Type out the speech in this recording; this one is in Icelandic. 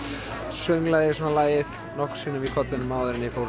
sönglaði lagið nokkrum sinnum í kollinum áður en ég fór